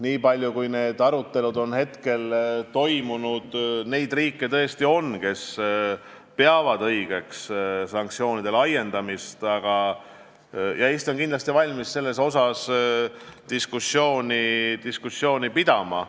Nii palju, kui neid arutelusid on toimunud, on teada, et on riike, kes peavad õigeks sanktsioonide laiendamist, ja Eesti on kindlasti valmis selle üle diskussiooni pidama.